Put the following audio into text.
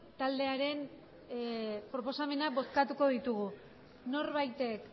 taldearen proposamenak bozkatuko ditugu norbaitek